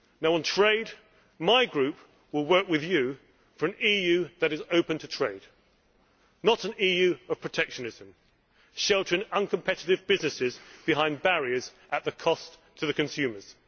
On trade, my group will work with you for an EU that is open to trade, not an EU of protectionism sheltering uncompetitive businesses behind barriers at a cost to the consumers.